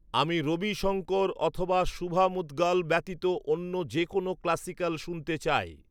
আমি রবিশঙ্কর অথবা শুভ মুদ্গাল ব্যতীত অন্য যে কোনও ক্লাসিক্যাল শুনতে চাই